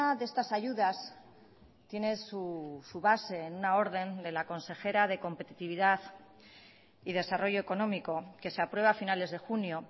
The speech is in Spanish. de estas ayudas tiene su base en una orden de la consejera de competitividad y desarrollo económico que se aprueba a finales de junio